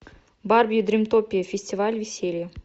барби дримтопия фестиваль веселья